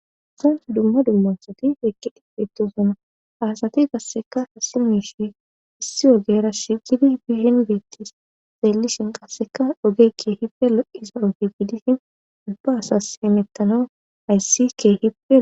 Zans dumma dummansati eqkidhifeetosona asati qasseka hassi miishi issi ogera shigidi biihen beettis xeellishen qasseka oge ke hipe lo'iza oge gidishin ubba asas emettano ayssi kee hipe.